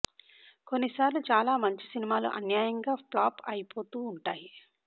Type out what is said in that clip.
కొన్ని సార్లు చాలా మంచి సినిమాలు అన్యాయంగా ప్లాప్ అయిపోతూ ఉంటాయి